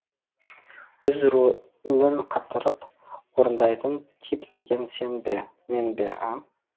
өз ролін қатырып орындайтын тип деген сен бе мен бе а